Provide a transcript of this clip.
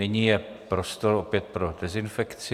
Nyní je prostor opět pro dezinfekci.